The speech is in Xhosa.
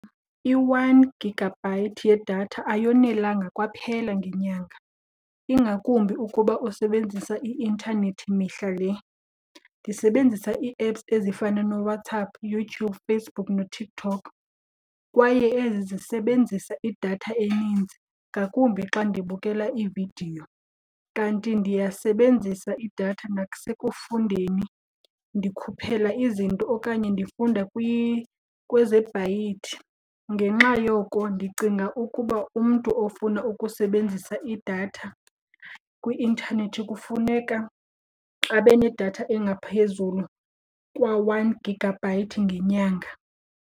I-one gigabyte yedatha ayonelanga kwaphela ngenyanga, ingakumbi ukuba usebenzisa i-intanethi mihla le. Ndisebenzisa i-apps ezifana nooWhatsApp, YouTube, Facebook noTikTtok kwaye ezi zisebenzisa idatha eninzi ngakumbi xa ndibukela iividiyo. Kanti ndiyasebenzisa iidatha nasekufundeni, ndikhuphela izinto okanye ndifunda . Ngenxa yoko ndicinga ukuba umntu ofuna ukusebenzisa idatha kwi-intanethi kufuneka abe nedatha engaphezulu kwe-one gigabyte ngenyanga.